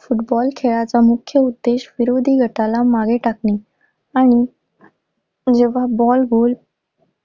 Football खेळाचा मुख्य उद्देश विरोधी गटाला मागे टाकणं. आणि जेव्हा ball गोल